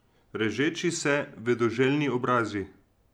Režeči se, vedoželjni obrazi.